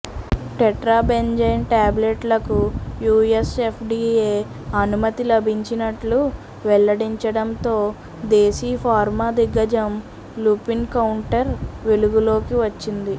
tetrabenazine ట్యాబ్లెట్లకు USFDA అనుమతి లభించినట్లు వెల్లడించడంతో దేశీ ఫార్మా దిగ్గజం లుపిన్ కౌంటర్ వెలుగులోకి వచ్చింది